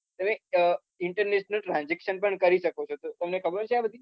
તમે international transaction પણ કરી શકો છો તો તમને ખબર છે આ બધી?